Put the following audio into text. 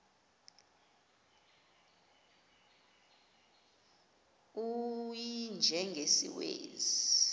u y njengesiwezi